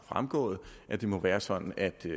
fremgået at det må være sådan at vi